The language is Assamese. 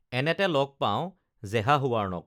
এনেতে লগ পাওঁ জেহাহৱাৰ্ণক